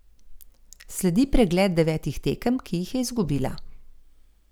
Sledi pregled devetih tekem, ki jih je izgubila.